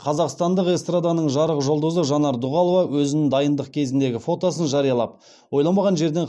қазақстандық эстраданың жарық жұлдызы жанар дұғалова өзінің дайындық кезіндегі фотосын жариялап ойламаған жерден